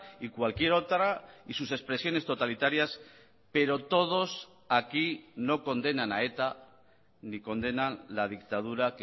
y cualquier otra y sus expresiones totalitarias pero todos aquí no condenan a eta ni condenan la dictadura